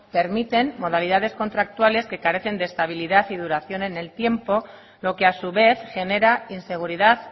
permiten modalidades contractuales que carecen de estabilidad y duración en el tiempo lo que a su vez genera inseguridad